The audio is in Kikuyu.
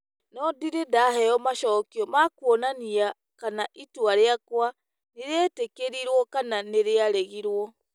No ndirĩ ndaheo macokio ma kuonania kana itua rĩakwa nĩ rĩetĩkĩrĩtwo kana nĩ rĩaregirũo.